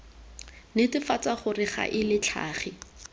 netefatsa gore ga e latlhege